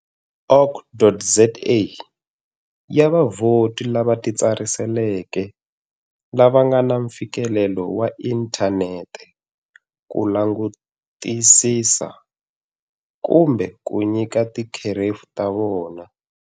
org.za, ya vavhoti lava titsariseleke lava nga na mfikelelo wa inthanete ku langutisisa kumbe ku nyika tikherefu ta vona.